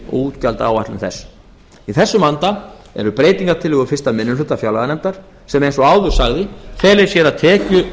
útgjaldaáætlun þess í þessum anda eru breytingartillögur fyrsti minni hluta fjárlaganefndar sem eins og áður sagði fela í sér að